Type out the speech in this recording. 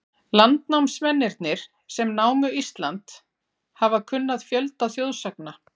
Landnámsmennirnir, sem námu Ísland, hafa kunnað fjölda þjóðsagna.